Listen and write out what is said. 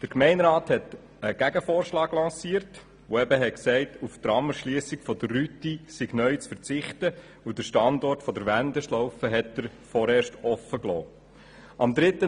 Der Gemeinderat lancierte einen Gegenvorschlag, welcher besagte, auf die Tramerschliessung der Rüti sei neu zu verzichten, wobei der Standort der Wendeschlaufe vorerst offen gelassen wurde.